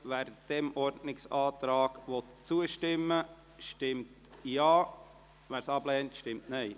Wer diesem Ordnungsantrag zustimmen will, stimmt Ja, wer diesen ablehnt, stimmt Nein.